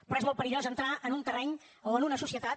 però és molt perillós entrar en un terreny o en una societat